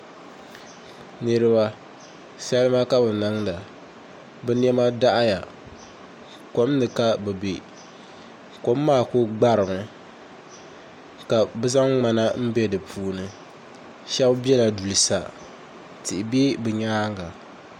Niraba salima ka bi niŋda bi niɛma daɣaya kom ni ka bi bɛ kom maa ku gbarimi ka bi zaŋ ŋmana n bɛ di puuni shab biɛla duli sa tihi bɛ bi nyaanga